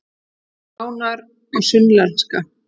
Sjá nánar á Sunnlenska